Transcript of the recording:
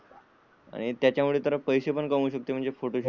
आणि त्यामुळे तर पैसे कमावू शकते आणि फोटो शूट चे.